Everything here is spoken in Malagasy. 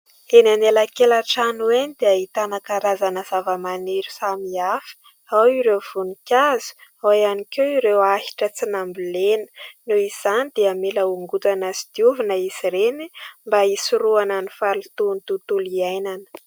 Eny anelakelan-trano eny dia ahitana karazana zava-maniry samihafa : ao ireo voninkazo, ao ihany koa ireo ahitra tsy nambolena. Noho izany dia mila hongotana sy diovina izy ireny mba hisorohana ny fahalotoan'ny tontolo iainana.